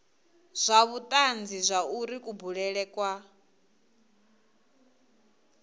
na vhutanzi zwauri kubulele kwa